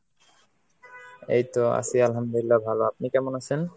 এইতো আছি আলহামদুলিল্লাহ ভালো। আপনি কেমন আছেন?